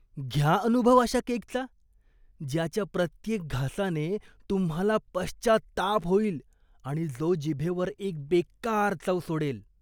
घ्या अनुभव अशा केकचा, ज्याच्या प्रत्येक घासाने तुम्हाला पश्चात्ताप होईल आणि जो जीभेवर एक बेक्कार चव सोडेल.